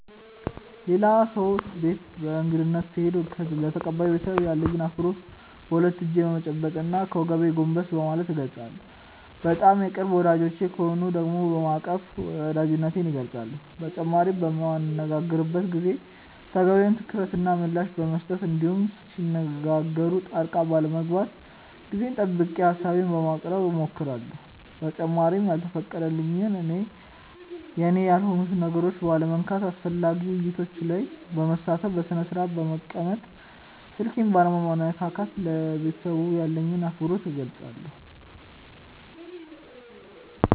ሌላ ሰው ቤት በእንግድነት ስሄድ ለተቀባዩ ቤተሰብ ያለኝን አክብሮት በሁለት እጄ በመጨበጥ እና ከወገቤ ጎንበስ በማለት እገልፃለሁ። በጣም የቅርብ ወዳጆቼ ከሆኑ ደግሞ በማቀፍ ወዳጅነቴን እገልፃለሁ። በተጨማሪም በምንነጋገርበት ጊዜ ተገቢውን ትኩረት እና ምላሽ በመስጠት እንዲሁም ሲነጋገሩ ጣልቃ ባለመግባት ጊዜውን ጠብቄ ሀሳቤን በማቅረብ እሞክራለሁ። በተጨማሪም ያልተፈቀደልኝን እና የኔ ያልሆኑትን ነገሮች ባለመንካት፣ አስፈላጊ ውይይቶች ላይ በመሳተፍ፣ በስነስርአት በመቀመጥ፣ ስልኬን ባለመነካካት ለቤተሰቡ ያለኝን አክብሮት እገልፃለሁ።